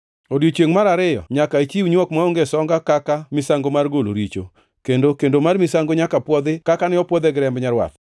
“Odiechiengʼ mar ariyo nyaka ichiw nywok maonge songa kaka misango mar golo richo, kendo kendo mar misango nyaka pwodhi kaka ne opwodhe gi remb nyarwath.